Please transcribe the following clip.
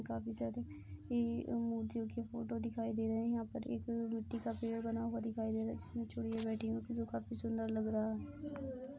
काफी सारी ये उ की एम मूर्तियों की फोटो दिखाई दे रही हैं। यहाँ पर एक मिट्टी का पेड़ बना हुआ दिखाई दे रहा है जिसमे चुहिया बैठी ओ जो काफी सुंदर लग रहा है।